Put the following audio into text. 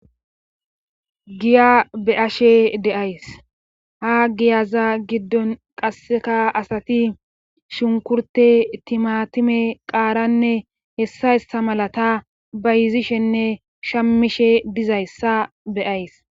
Giya be7ashe de7ays ha giyaza giddon qasseka asati shunkurte timatime qaaranne hessa yssa malata bayizishenne shammishe dizayssa beyays